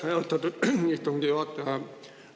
Aitäh, austatud istungi juhataja!